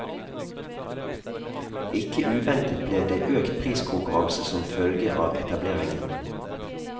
Ikke uventet ble det økt priskonkurranse som følge av etableringen.